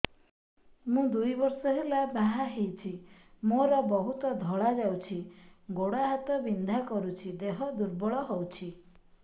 ମୁ ଦୁଇ ବର୍ଷ ହେଲା ବାହା ହେଇଛି ମୋର ବହୁତ ଧଳା ଯାଉଛି ଗୋଡ଼ ହାତ ବିନ୍ଧା କରୁଛି ଦେହ ଦୁର୍ବଳ ହଉଛି